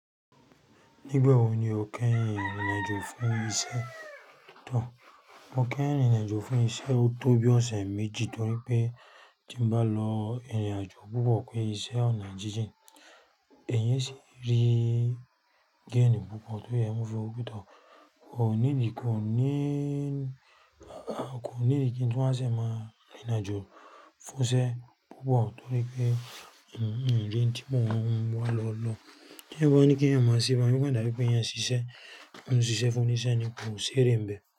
Nígbàwò ní o kẹyin rìnrin ajọ fún ìṣẹ̀? Mo kẹ́yìn rinrìn ajọ fún ìṣẹ̀ o tó bí ọṣẹ̀ méjì torí pé tí n bá lọ ìrìnàjò púpọ̀ pé ìṣẹ̀ ọ̀nà jíjìn, ẹ̀eyan e sì rí géènì púpọ̀ tó ẹ̀ mọ̀ fún òpútọ̀. Kò ní ìdíkún ní, a kò ní ìdíkún tí wọn a ṣẹ̀ máa rìnàjò fún ìṣẹ̀ púpọ̀ torí pé n, n, níbí tí mò n wá lọ lọ. Nígbàwó ní kí ẹ̀ má ṣẹ̀ báa yẹn pẹ́ dàbí pé ẹ̀ n ṣiṣẹ̀, mò n ṣiṣẹ̀ fún oníṣẹ̀ àní kò ṣẹ̀ rìn bẹ̀